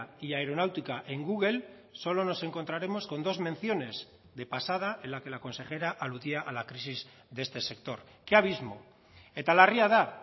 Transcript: y aeronáutica en google solo nos encontraremos con dos menciones de pasada en la que la consejera aludía a la crisis de este sector qué abismo eta larria da